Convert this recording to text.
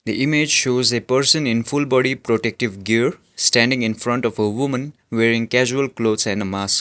the image shows a person in full body protective gear standing infront of a woman wearing causal clothes and a mask.